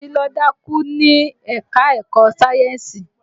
Títí ló dákú ní ẹ̀ka-ẹ̀kọ sayẹ́nsì